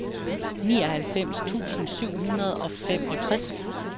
nioghalvfems tusind syv hundrede og femogtres